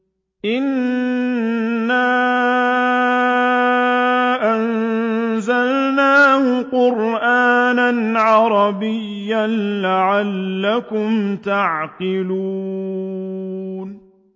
إِنَّا أَنزَلْنَاهُ قُرْآنًا عَرَبِيًّا لَّعَلَّكُمْ تَعْقِلُونَ